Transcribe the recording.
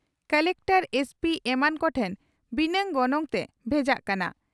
Collector SP ᱮᱢᱟᱱ ᱠᱚᱴᱷᱮᱱ ᱵᱤᱱᱟᱜ ᱜᱚᱱᱚᱝᱛᱮ ᱵᱷᱮᱡᱟᱜ ᱠᱟᱱᱟ ᱾